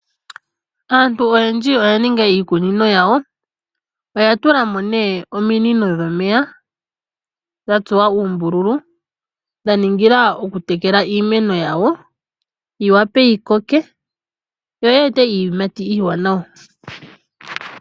Aantu oyendji oya ninga iikunino yawo oyatulamo nee ominino dhomeya dhatsuwa uumbindja dhaningila okutekela iimeno yawo yi wape yikoke yo yi ete iiyimati iiwanawa.